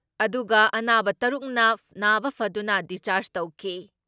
ꯑꯗꯨꯒ ꯑꯅꯥꯕ ꯇꯔꯨꯛꯅ ꯅꯥꯕ ꯐꯗꯨꯅ ꯗꯤꯁꯆꯥꯔꯖ ꯇꯧꯈꯤ ꯫